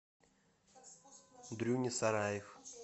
дрюня сараев